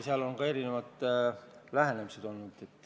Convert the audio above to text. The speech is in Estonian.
Seal on erinevad lähenemised.